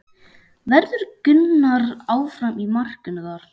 Verður Gunnar áfram í markinu þar?